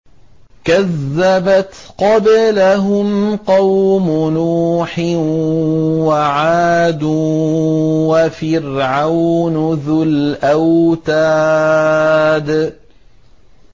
كَذَّبَتْ قَبْلَهُمْ قَوْمُ نُوحٍ وَعَادٌ وَفِرْعَوْنُ ذُو الْأَوْتَادِ